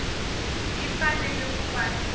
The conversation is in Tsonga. yi fanele ku va ni